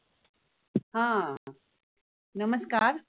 हम्म नमस्कार.